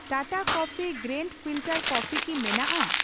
Tata coffee grand filter coffee ᱠᱤ ᱢᱮᱱᱟᱜᱼᱟ ?